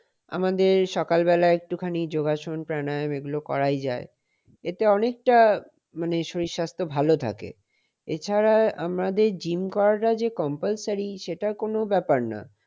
আমাদের সকালবেলা একটুখানি যোগাসন প্রাণায়াম এগুলা করাই যায়। এতে অনেকটা মানে শরীর স্বাস্থ্য ভালো থাকে। এছাড়া আমাদের gym করাটা compulsory সেটা কোন ব্যাপার না।